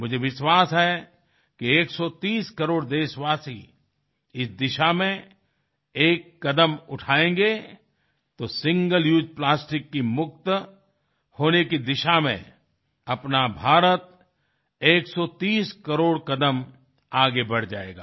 मुझे विश्वास है कि 130 करोड़ देशवासी इस दिशा में एक कदम उठाएंगे तो सिंगल उसे प्लास्टिक की मुक्त होने की दिशा में अपना भारत 130 करोड़ कदम आगे बढ़ जाएगा